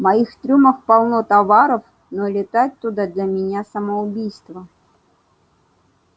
моих трюмах полно товаров но лететь туда для меня самоубийство